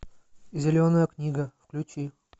зеленая книга включи